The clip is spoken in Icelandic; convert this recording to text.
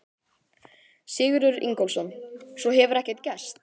Sigurður Ingólfsson: Svo hefur ekkert gerst?